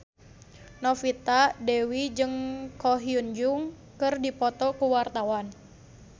Novita Dewi jeung Ko Hyun Jung keur dipoto ku wartawan